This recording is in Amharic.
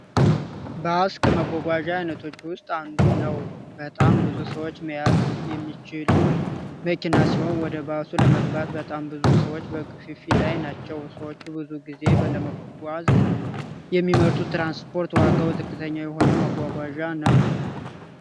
ባስ ከመጓጓዣ አይነቶች ውስጥ አንዱ ነው። በጣም ብዙ ሰዎችን መያዝ የሚችል መኪና ሲሆን ወደ ባሱ ለመግባት በጣም ብዙ ሰው በግፊፊ ላይ ነው። ሰዎቹ ብዙ ግዜ ለመጓዝ የሚመርጡት ትራንስፖርት ዋጋው ዝቅተኛ የሆነ መጓጓዣ ነው።